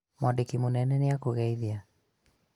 mwandĩkĩ mũnene nĩ akũgeithia